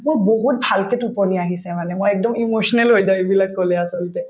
মোৰ বহুত ভালকে টোপনি আহিছে মানে মই একদম emotional হৈ এইবিলাক কলে আচলতে